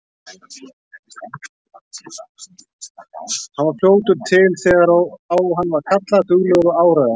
Hann var fljótur til þegar á hann var kallað, duglegur og áræðinn.